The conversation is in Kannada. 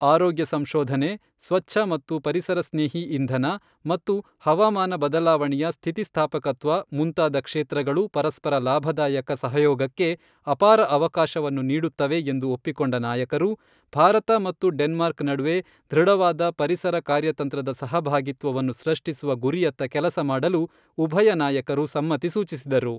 ಆರೋಗ್ಯ ಸಂಶೋಧನೆ, ಸ್ವಚ್ಛ ಮತ್ತು ಪರಿಸರ ಸ್ನೇಹಿ ಇಂಧನ, ಮತ್ತು ಹವಾಮಾನ ಬದಲಾವಣೆಯ ಸ್ಥಿತಿಸ್ಥಾಪಕತ್ವ ಮುಂತಾದ ಕ್ಷೇತ್ರಗಳು ಪರಸ್ಪರ ಲಾಭದಾಯಕ ಸಹಯೋಗಕ್ಕೆ ಅಪಾರ ಅವಕಾಶವನ್ನು ನೀಡುತ್ತವೆ ಎಂದು ಒಪ್ಪಿಕೊಂಡ ನಾಯಕರು, ಭಾರತ ಮತ್ತು ಡೆನ್ಮಾರ್ಕ್ ನಡುವೆ ದೃಢವಾದ ಪರಿಸರ ಕಾರ್ಯತಂತ್ರದ ಸಹಭಾಗಿತ್ವವನ್ನು ಸೃಷ್ಟಿಸುವ ಗುರಿಯತ್ತ ಕೆಲಸ ಮಾಡಲು ಉಭಯ ನಾಯಕರು ಸಮ್ಮತಿ ಸೂಚಿಸಿದರು.